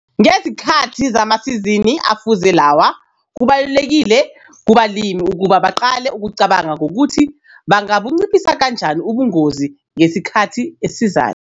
Ngezikhathi zamasizini afuze lawa, kubalulekile kubalimi ukuba baqale ukucabanga ngokuthi banga bunciphisa kanjani ubungozi ngesikhathi esizayo.